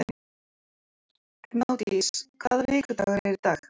Gnádís, hvaða vikudagur er í dag?